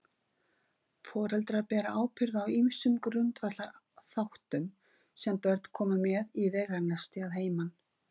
Foreldrar bera ábyrgð á ýmsum grundvallarþáttum sem börnin koma með í veganesti að heiman.